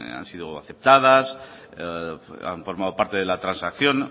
han sido aceptadas que han formado parte de la transacción